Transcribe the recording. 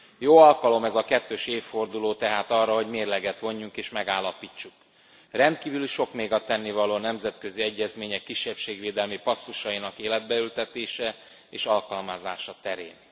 Jó alkalom ez a kettős évforduló tehát arra, hogy mérleget vonjunk és megállapítsuk rendkívül sok még a tennivaló a nemzetközi egyezmények kisebbségvédelmi passzusainak életbe ültetése és alkalmazása terén.